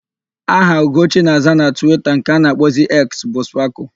Aha Ugochi na-aza na Twita nke a na-akpọzi Eks bu Spakụl.